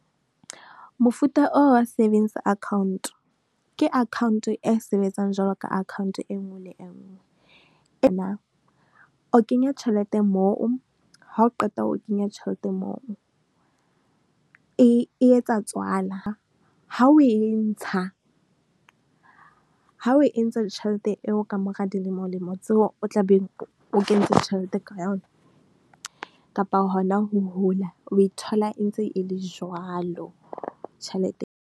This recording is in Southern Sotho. Mofuta o wa savings account, ke account e sebetsang jwalo ka account e nngwe le engwe . O kenya tjhelete moo, ha o qeta ho kenya tjhelete moo, e e etsa tswala. Ha o e ntsha, ha o e ntsha tjhelete eo ka mora dilemolemo tseo o tla beng o kentse tjhelete ka yona, kapa hona ho hula, o e thola e ntse e le jwalo, tjhelete.